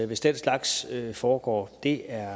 hvis den slags foregår det er